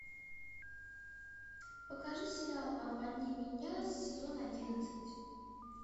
покажи сериал обмани меня сезон одиннадцать